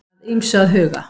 Að ýmsu að huga